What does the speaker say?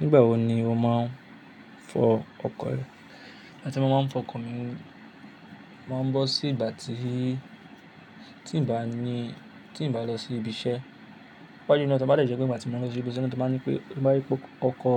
Nígbà wo ni o máa ń fọ ọkọ̀ rẹ? Ìgbà tí mo máa ń fọ ọkọ̀ mi, máa ń bọ́ sí ìgbà tí, tí n bá ní, tí n bá lọ sí ibi iṣẹ́. Pápá jù lọ tí mo bá dẹ̀jì pé ìgbà tí mo bá lọ sí ibi iṣẹ́ ni wọ́n tó máa ń ní pé, mo bá rí pé ọkọ,